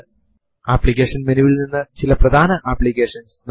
ഈ കമാൻഡ് ഒരുപക്ഷെ എല്ലാ യുണിക്സ് സിസ്റ്റംസ് ത്തിലും പ്രവർത്തിക്കില്ലായിരിക്കും